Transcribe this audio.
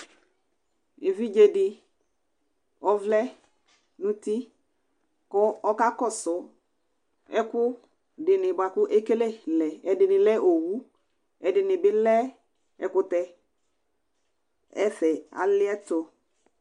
Evidze dɩ ,ɔvlɛ nʋ uti kʋ ɔkakɔsʋ ɛkʋ dɩnɩ bʋa kʋ ekele lɛ: ɛdɩnɩ lɛ owu, ɛdɩnɩ bɩ lɛ ɛkʋtɛ ,ɛfɛ alɩɛtʋ